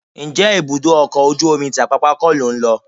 Ǹjẹ́ ibùdó ọkọ̀ ojú omi ti Apápá kọ́ lò ń lọ?